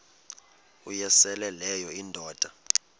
uyosele leyo indoda